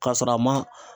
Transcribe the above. K'a sɔrɔ a ma